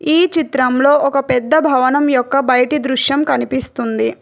ఈ చిత్రంలో ఒక పెద్ద భవనం యొక్క బయిటి దృశ్యం కనిపిస్తుంది.